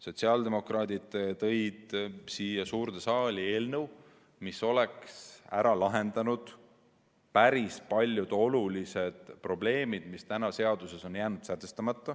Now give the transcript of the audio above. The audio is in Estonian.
Sotsiaaldemokraadid tõid siia suurde saali eelnõu, mis oleks ära lahendanud päris paljud olulised probleemid, mis praegu on seaduses jäänud lahtiseks.